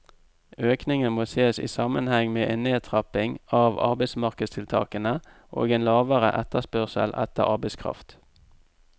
Økningen må ses i sammenheng med en nedtrapping av arbeidsmarkedstiltakene og en lavere etterspørsel etter arbeidskraft.